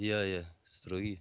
иә иә строгий